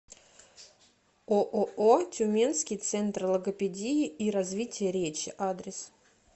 ооо тюменский центр логопедии и развития речи адрес